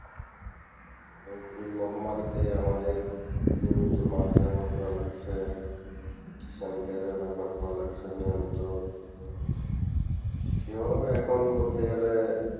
এবং এই মহামারিতে আমাদের নিয়মিত mask ব্যবহার করা লাগছে sanitizer ব্যবহার করা লাগছে নিয়মিত সেভাবে এখন বলতে গেলে,